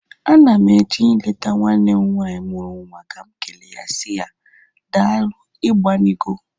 Ana m eje ileta nwanne m nwaanyị mụrụ nwa ka m ekele ya si ya, daalu igbanigo.